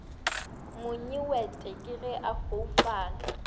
monyewete ke ge a foufala